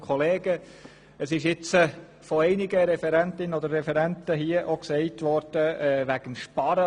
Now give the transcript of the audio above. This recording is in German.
Von einigen Referentinnen und Referenten wurde hier auch das Sparen angesprochen.